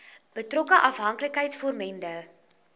betrokke afhanklikheids vormende